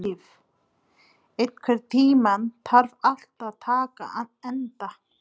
Líf, einhvern tímann þarf allt að taka enda.